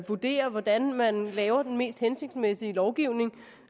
vurderer hvordan man laver den mest hensigtsmæssige lovgivning